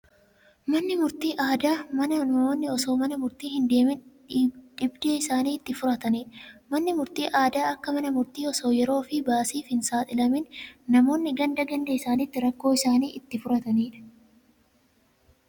Manni murtii aadaa mana namoonni osoo mana murtii hindeemin dhibdee isaanii itti furataniidha. Manni murtii aadaa akka Mana murtii osoo yeroofi baasiif hin saaxilamin namoonni ganda ganda isaanitti rakkoo isaanii itti furataniidha.